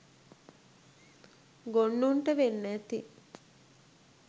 ගොන්නුන්ට වෙන්න ඇති.